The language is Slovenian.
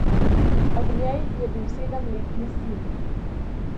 Ob njej je bil sedemletni sin.